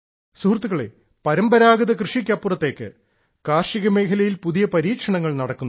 സുഹൃത്തുക്കളെ പരമ്പരാഗത കൃഷിക്ക് അപ്പുറത്തേക്ക് കാർഷിക മേഖലയിൽ പുതിയ പരീക്ഷണങ്ങൾ നടക്കുന്നു